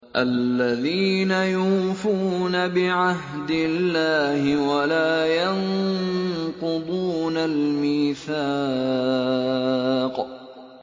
الَّذِينَ يُوفُونَ بِعَهْدِ اللَّهِ وَلَا يَنقُضُونَ الْمِيثَاقَ